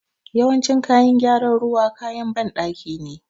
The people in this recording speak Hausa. Yawancin kayan gyaran ruwa, kayan banɗaki ne.